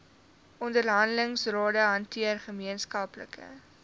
onderhandelingsrade hanteer gemeenskaplike